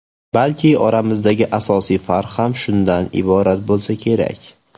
Balki oramizdagi asosiy farq ham shundan iborat bo‘lsa kerak.